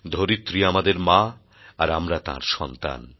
ধরিত্রী আমাদের মা আর আমরা তাঁর সন্তান